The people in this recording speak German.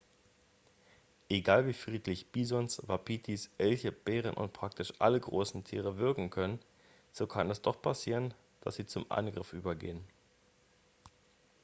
egal wie friedlich bisons wapitis elche bären und praktisch alle großen tiere wirken können so kann es doch passieren dass sie zum angriff übergehen